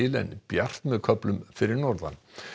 en bjart með köflum fyrir norðan